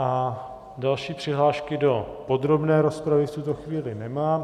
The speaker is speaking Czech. A další přihlášky do podrobné rozpravy v tuto chvíli nemám.